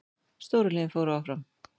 Stóru liðin fóru áfram